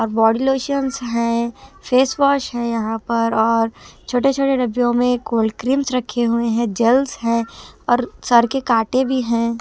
और body lotions है face wash है यहां पर और छोटे-छोटे डब्बों में कोल्ड क्रीम्स हुए हैं जेल्स हैं और सर के कांटे भी हैं।